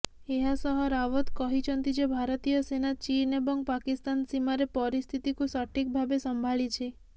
ଏହାସହ ରାୱତ କହିଛନ୍ତି ଯେ ଭାରତୀୟ ସେନା ଚୀନ ଏବଂ ପାକିସ୍ତାନ ସୀମାରେ ପରିସ୍ଥିତିକୁ ସଠିକ୍ ଭାବେ ସମ୍ଭାଳିଛି